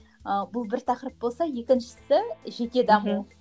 ы бұл бір тақырып болса екіншісі жеке даму мхм